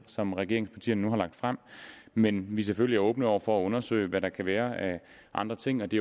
som regeringspartierne nu har fremsat men vi er selvfølgelig åbne over for at undersøge hvad der kan være af andre ting og det